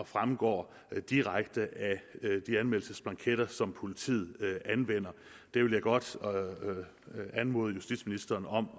fremgår direkte af de anmeldelsesblanketter som politiet anvender det vil jeg godt anmode justitsministeren om